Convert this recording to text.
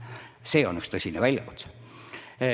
See on üks tõsine väljakutse.